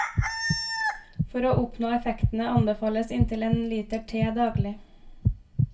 For å oppnå effektene anbefales inntil en liter te daglig.